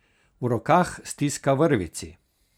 V rokah stiska vrvici.